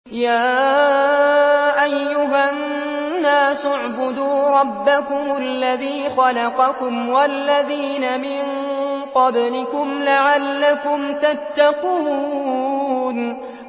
يَا أَيُّهَا النَّاسُ اعْبُدُوا رَبَّكُمُ الَّذِي خَلَقَكُمْ وَالَّذِينَ مِن قَبْلِكُمْ لَعَلَّكُمْ تَتَّقُونَ